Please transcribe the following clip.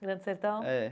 Grande Sertão? É.